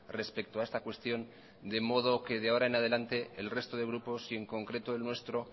respecto a esta cuestión de modo que de ahora en adelante el resto de grupos y en concreto el nuestro